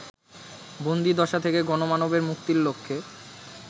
বন্দীদশা থেকে গণমানবের মুক্তির লক্ষ্যে